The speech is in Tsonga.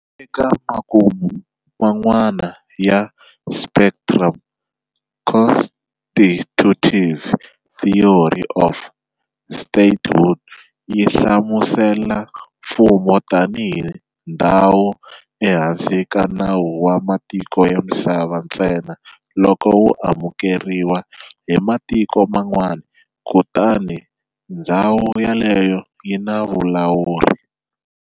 Eka makumu man'wana ya spectrum, constitutive theory of statehood yi hlamusela mfumo tani hi ndzhawu ehansi ka nawu wa matiko ya misava ntsena loko wu amukeriwa hi matiko man'wana kutani ndzhawu yoleyo yi na vulawuri.